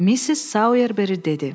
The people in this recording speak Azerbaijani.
Missis Sayerber dedi: